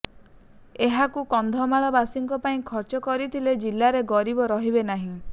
ଏହାକୁ କନ୍ଧମାଳବାସୀଙ୍କ ପାଇଁ ଖର୍ଚ୍ଚ କରିଥିଲେ ଜିଲ୍ଲାରେ ଗରିବ ରହିବେ ନାହିଁ